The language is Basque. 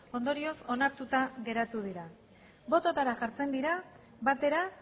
ondorioz onartuta geratu dira bototara jartzen dira batera